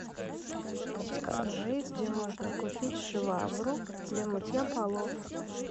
подскажи где можно купить швабру для мытья полов